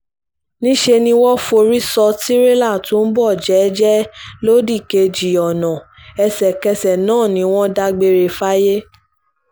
níṣẹ́ ni wọ́n forí sọ tirẹ́là tó ń bọ̀ jẹ́ẹ́jẹ́ lódìkejì ọ̀nà ẹsẹ̀kẹsẹ̀ náà ni wọ́n dágbére fáyé